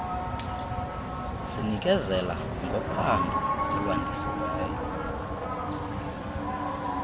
zinikezela ngophando olwandisiweyo